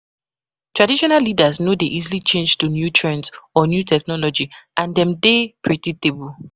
Traditional leaders no dey easily change to new trends or new technology and dem de dey predictable